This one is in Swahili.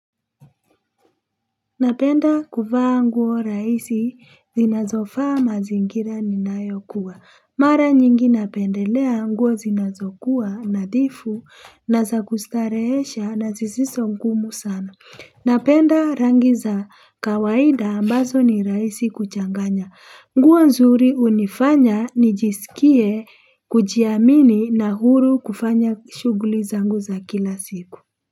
Napenda kuvaa nguo rahisi zinazofaa mazingira ninayokuwa. Mara nyingi napendelea nguo zinazokuwa nadhifu na za kustarehesha, na zisizo ngumu sana. Napenda rangi za kawaida ambazo ni rahisi kuchanganya. Nguo nzuri hunifanya nijisikie kujiamini na huru kufanya shughuli zangu za kila siku.